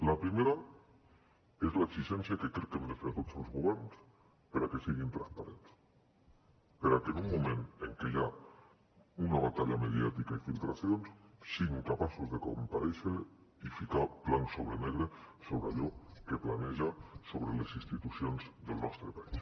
la primera és l’exigència que crec que hem de fer a tots els governs perquè siguin transparents perquè en un moment en què hi ha una batalla mediàtica i filtracions siguin capaços de comparèixer i ficar blanc sobre negre sobre allò que planeja sobre les institucions del nostre país